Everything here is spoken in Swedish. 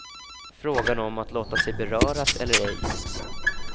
Frågan om att låta sig beröras eller ej.